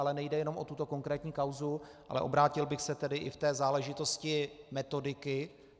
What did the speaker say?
Ale nejde jenom o tuto konkrétní kauzu, ale obrátil bych se tedy i v té záležitosti metodiky.